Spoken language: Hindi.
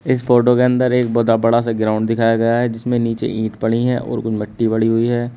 इस फोटो के अंदर एक बदा बड़ा सा ग्राउंड दिखाया गया है जिसमें नीचे ईट पड़ी है और कुछ मिट्टी पड़ी हुई है।